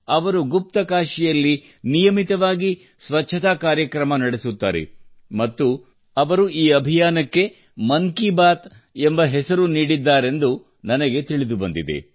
ಅವರು ಗುಪ್ತಕಾಶಿಯಲ್ಲಿ ನಿಯಮಿತವಾಗಿ ಸ್ವಚ್ಛತಾ ಕಾರ್ಯಕ್ರಮ ನಡೆಸುತ್ತಾರೆ ಮತ್ತು ಅವರು ಈ ಅಭಿಯಾನಕ್ಕೆ ಮನ್ ಕಿ ಬಾತ್ ಎಂಬ ಹೆಸರು ನೀಡಿದ್ದಾರೆಂದು ನನಗೆ ತಿಳಿದುಬಂದಿದೆ